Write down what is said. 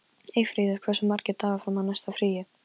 Eyfríður, hversu margir dagar fram að næsta fríi?